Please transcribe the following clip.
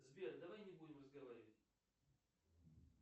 сбер давай не будем разговаривать